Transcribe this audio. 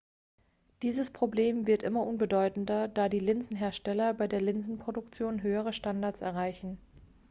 dieses problem wird immer unbedeutender da die linsenhersteller bei der linsenproduktion höhere standards erreichen